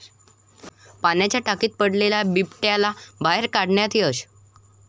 पाण्याच्या टाकीत पडलेल्या बिबट्याला बाहेर काढण्यात यश